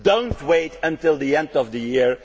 Do not wait until the end of the